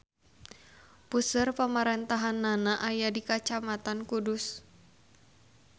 Puseur pamarentahannana aya di Kacamatan Kudus.